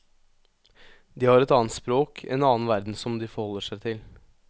De har et annet språk, en annen verden som de forholder seg til.